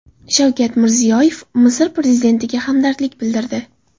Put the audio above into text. Shavkat Mirziyoyev Misr prezidentiga hamdardlik bildirdi.